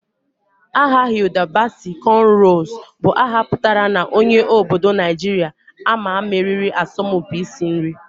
Aha Hilda Baci Conrows bu aha putara na onye obodo Najiria ama mmeriri asọmpi isi nri